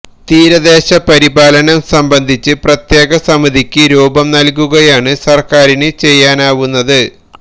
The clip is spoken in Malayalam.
തീരദേശ പരിപാലനം സംബന്ധിച്ച് പ്രത്യേക സമിതിക്ക് രൂപം നല്കുകയുമാണ് സര്ക്കാരിന് ചെയ്യാനാവുന്നത്